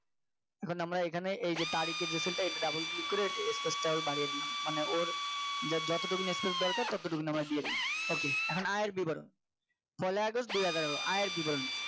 এখন আমরা এখানে এই যে তারিখের যে cell টা এটা Double click করে Space টা আরো বাড়িয়ে দিলাম মানে ওর যতটুকু নিয়ে Space দরকার ততটুকু ততটুকু নিয়ে আমার দিয়ে দিলাম ok এখন আর বিবরণ পহেলা আগস্ট দুহাজার আঠারো বিবরণ